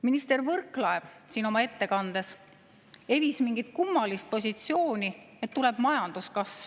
Minister Võrklaev siin oma ettekandes evis mingit kummalist positsiooni, et tuleb majanduskasv.